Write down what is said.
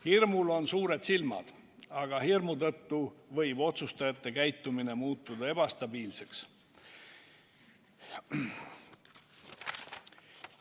Hirmul on suured silmad, aga hirmu tõttu võib otsustajate käitumine muutuda ebastabiilseks.